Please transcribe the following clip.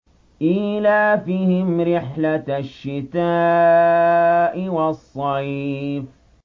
إِيلَافِهِمْ رِحْلَةَ الشِّتَاءِ وَالصَّيْفِ